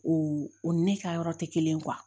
O o ni ne ka yɔrɔ tɛ kelen ye